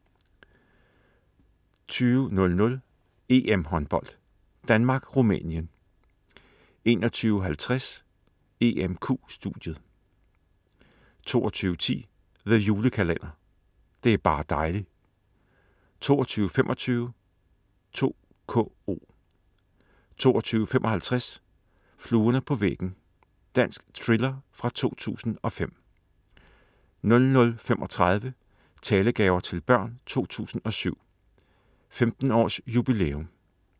20.00 EM-Håndbold: Danmark-Rumænien 21.50 EMQ studiet 22.10 The Julekalender. Det er bar' dejli' 22.25 2KO 22.55 Fluerne på væggen. Dansk thriller fra 2005 00.35 Talegaver til Børn 2007. 15 års jubilæum*